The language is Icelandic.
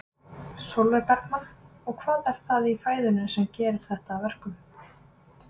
Sólveig Bergmann: Og hvað er það í fæðunni sem að gerir þetta að verkum?